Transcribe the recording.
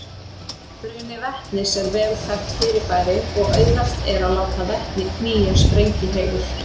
Bruni vetnis er vel þekkt fyrirbæri og auðvelt er að láta vetni knýja sprengihreyfil.